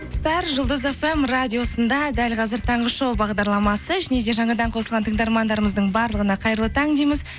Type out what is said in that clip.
бәрі жұлдыз фм радиосында дәл қазір таңғы шоу бағдарламасы және де жаңадан қосылған тыңдармандарымыздың барлығына қайырлы таң дейміз